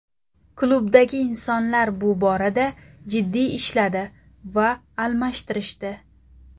Klubdagi insonlar bu borada jiddiy ishladi va almashtirishdi.